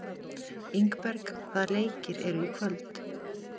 Ingberg, hvaða leikir eru í kvöld?